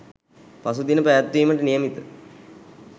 පසුදින පැවැත්වීමට නියමිත